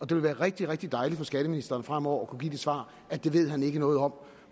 det vil være rigtig rigtig dejligt for skatteministeren fremover at kunne give det svar at det ved han ikke noget om